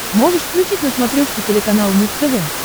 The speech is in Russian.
можешь включить на смотрешке телеканал муз тв